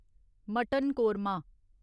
mutton korma